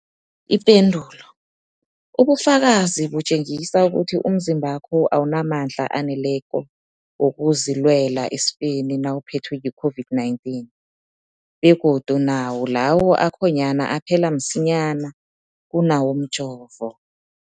Ipendulo, ubufakazi butjengisa ukuthi umzimbakho awunamandla aneleko wokuzilwela esifeni nawuphethwe yi-COVID-19, begodu nawo lawo akhonyana aphela msinyana kunawomjovo.